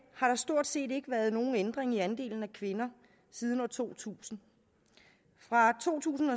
har der stort set ikke været nogen ændring i andelen af kvinder siden år to tusind fra to tusind